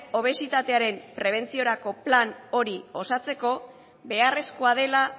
obesitatearen prebentziorako plana hori osatzeko beharrezkoa dela